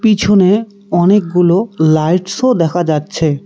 পিছনে অনেকগুলো লাইটসও দেখা যাচ্ছে।